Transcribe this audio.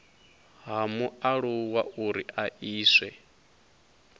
ha mualuwa uri a iswe